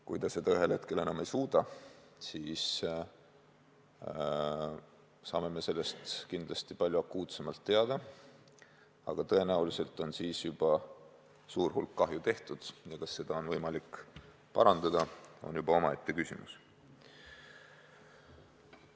Kui ta seda ühel hetkel enam ei suuda, siis saame sellest kindlasti palju akuutsemalt teada, aga tõenäoliselt on siis juba suur kahju tehtud ja see, kas seda on võimalik parandada, on juba omaette küsimus.